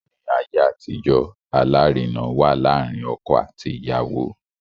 Ni aye atijo, alarina wa laarin ọkọ ati iyawo